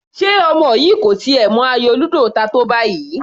Ṣe ọmọ yìí kò tiẹ̀ mọ ayò ludo ta tó báyìí?